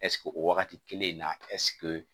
o wagati kelen in na